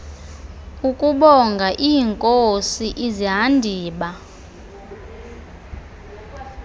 ukubonga iinkosi izihandiba